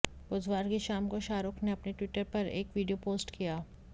बुधवार की शाम को शाहरुख ने अपने ट्विटर पर एक वीडियो पोस्ट किया